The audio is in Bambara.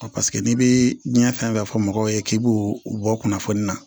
n'i bɛ diɲɛ fɛn fɛn fɔ mɔgɔw ye k'i b'o bɔ kunnafoni na